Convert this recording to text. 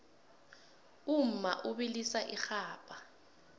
umma ubilisa irhabha